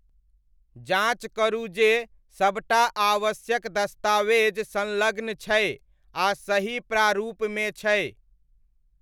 जाँच करू जे सब टा आवश्यक दस्तावेज संलग्न छै आ सही प्रारूपमे छै।